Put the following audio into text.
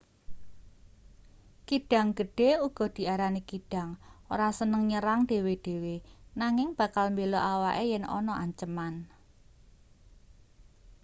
kidang gedhe uga diarani kidang ora seneng nyerang dhewe-dhewe nanging bakal mbela awake yen ana anceman